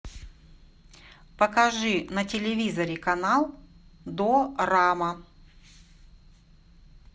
покажи на телевизоре канал дорама